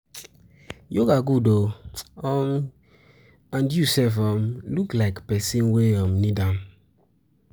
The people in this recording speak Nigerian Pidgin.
Yoga good oo, um and you sef um look like person wey um need am.